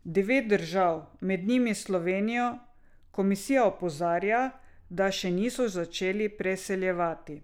Devet držav, med njimi Slovenijo, komisija opozarja, da še niso začele preseljevati.